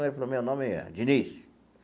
Ele falou, meu nome é Diniz.